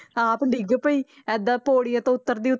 ਆਪ ਡਿੱਗ ਪਈ ਏਦਾਂ ਪੌੜੀਆਂ ਤੋਂ ਉੱਤਰਦੀ,